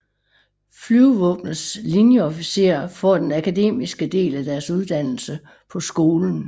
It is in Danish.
Flyvevåbnets linjeofficerer får den akademiske del af deres uddannelse på skolen